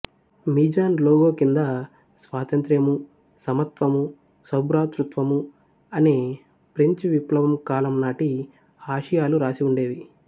Mizan logo కింద స్వాతంత్ర్యము సమత్వము సౌభ్రాతృత్వము అనే ఫ్రెంచి విప్లవం కాలం నాటి ఆశయాలు రాసి ఉండేవి